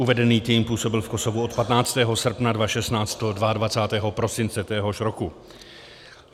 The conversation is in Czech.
Uvedený tým působil v Kosovu od 15. srpna 2016 do 22. prosince téhož roku.